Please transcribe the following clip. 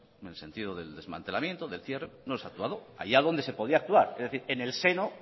en el sentido del desmantelamiento del cierre no se ha actuado allá donde se podía actuar es decir en el seno